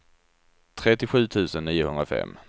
trettiosju tusen niohundrafem